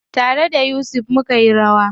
Tare da Yusuf mukeyi rawa.